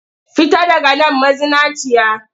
Fita daga man mazinaciya!